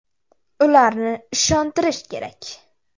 Ularni ishontirish kerak.